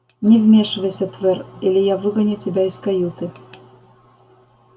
не вмешивайся твер или я выгоню тебя из каюты